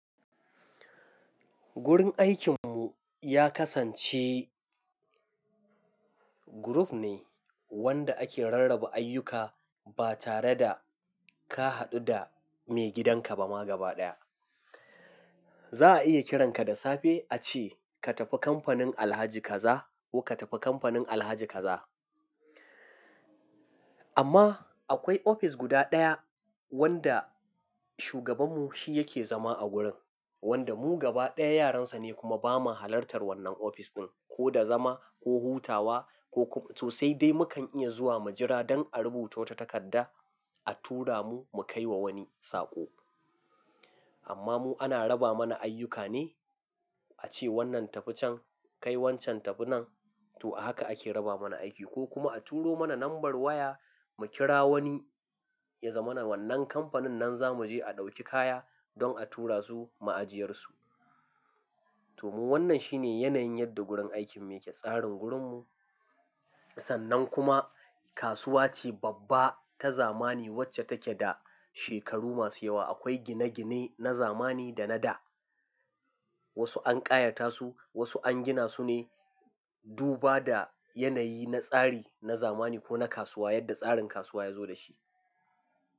Gurin aikinmu ya kasance group ne wanda ake rarraba ayyuka ba tare da ka haɗu da maigidanka ba ma gaba ɗaya. Za a iya kiranka da safe a ce ka tafi kamfanin Alhaji kaza ko ka tafi kamfanin Alhaji kaza. Amma akwai ofis guda ɗaya wanda shugabanmu shi yake zama a gurin, wanda mu gabaɗaya yaransa ne kuma bamu halartar wannan ofis ɗin ko da zama ko hutawa ko kum-- to sai dai mukan iya zuwa mu jira don a rubuta wata takarda a tura mu mu kai wa wani saƙo. Amma mu ana raba mana ayyuka ne a ce wannan tafi can kai wancan tafi nan to a haka ake raba mana aiki ko kuma a turo mana nambar waya mu kira wani ya zamana wannan kamfanin nan zamu je a ɗauki kaya don a tura su ma'ajiyarsu. To mu wannan shi ne yanayin yadda gurin aikin muke. Tsarin gurinmu sannan kuma kasuwa ce babba ta zamani wacce take da shekaru masu yawa. Akwai gine-gine na zamani da na da wasu an ƙayata su, wasu an gina su ne duba da yanayi na tsari na zamani ko na kasuwa yadda tsarin kasuwa ya zo da shi.